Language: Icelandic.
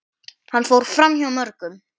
Hann fór framhjá mörgum.